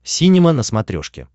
синема на смотрешке